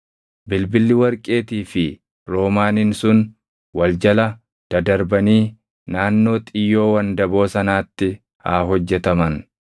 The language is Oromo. Bilbilli warqeetii fi roomaaniin sun wal jala dadarbanii naannoo xiyyoo wandaboo sanaatti haa hojjetaman.